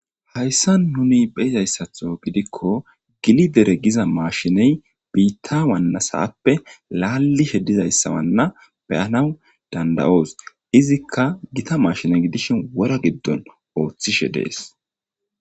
hayssa nuni beyizayssatho gidikko gili dere giza maashiney biitta wannasappe laallishe dizayssawanna beyanaw dandayoos izikka gita maashine gidishin wora giddon ooththishe dees